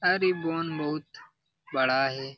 और इ बोन बहुत बड़ा है ।